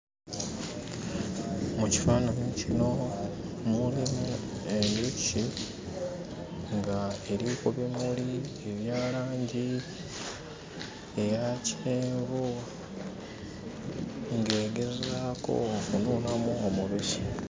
Mu kifaananyi kino mulimu enjuki ng'eri ku bimuli ebya langi eya kyenvu ng'egezaako okunuunamu omubisi.